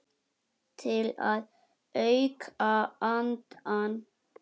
Til að auka andann.